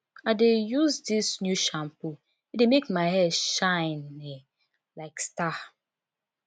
i dey use dis new shampoo e dey make my hair shine um like star